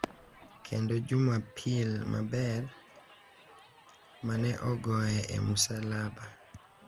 Kendo Jumapil Maber (mane ogoye e musalaba).